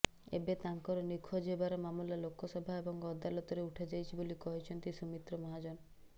ଏବେ ତାଙ୍କର ନିଖୋଜ ହେବାର ମାମଲା ଲୋକସଭା ଏବଂ ଅଦାଲତରେ ଉଠାଯାଇଛି ବୋଲି କହିଛନ୍ତି ସୁମିତ୍ର ମହାଜନ